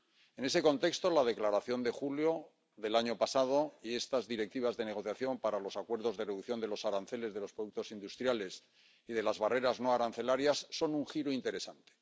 En ese contexto, la declaración de julio del año pasado y estas directivas de negociación para los acuerdos de reducción de los aranceles de los productos industriales y de las barreras no arancelarias son un giro interesante.